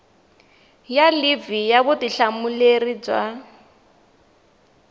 ya livhi ya vutihlamuleri bya